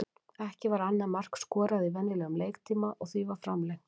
Ekki var annað mark skorað í venjulegum leiktíma og því var framlengt.